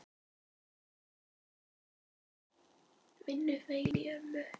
Vinnu hvein í ömmu.